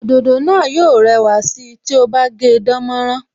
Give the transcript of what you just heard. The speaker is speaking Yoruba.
Òdòdó náà yó rẹwà sí ti o bá gé dánmọ́nrán